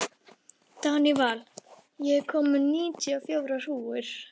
Danival, ég kom með níutíu og fjórar húfur!